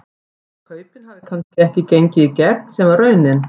Hvort kaupin hafi kannski ekki gengið í gegn sem að var raunin?